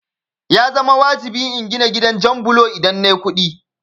Ya zama wajibi in gina gidan jan bulo idan nayi kuɗi